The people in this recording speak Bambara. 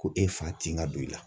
Ko e fa tin ka don i la